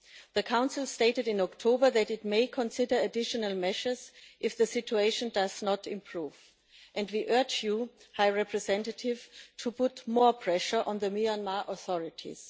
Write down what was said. The Council stated in October that it may consider additional measures if the situation does not improve, and we urge you, High Representative, to put more pressure on the Myanmar authorities.